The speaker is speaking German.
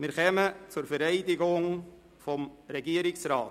Wir kommen zur Vereidigung des Regierungsrats.